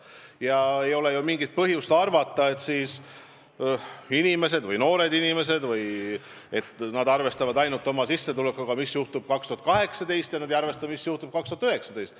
Ja ole mingit põhjust arvata, et noored inimesed arvestavad ainult oma sissetulekuga, mis nad said aastal 2018, ja ei arvesta, mis juhtub aastal 2019.